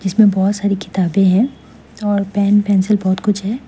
इसमें बहुत सारी किताबें हैं और पेन पेंसिल बहुत कुछ है।